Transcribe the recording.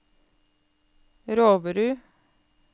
Roverud